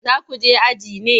Za ku je aji ne?